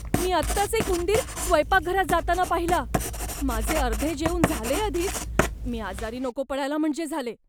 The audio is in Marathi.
मी आत्ताच एक उंदीर स्वयंपाकघरात जाताना पाहिला. माझे अर्धे जेवून झालेय आधीच. मी आजारी नको पडायला म्हणजे झाले.